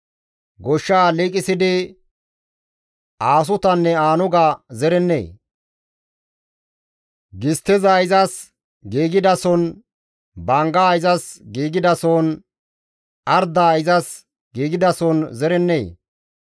Goshshaa liiqisidi aasutanne aanuga zerennee? Gistteza izas giigidasohon, banggaa izas giigidasohon arddaa izas giigidasohon zerennee?